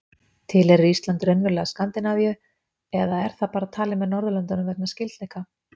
Tilheyrir Ísland raunverulega Skandinavíu eða er það bara talið með Norðurlöndunum vegna skyldleika?